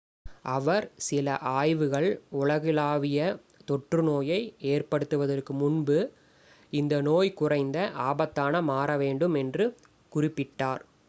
அவர் சில ஆய்வுகள் உலகளாவிய தொற்று நோயை ஏற்படுத்துவதற்கு முன்பு இந்த நோய் குறைந்த ஆபத்தானதாக மாற வேண்டும் என்று குறிப்பிட்டார்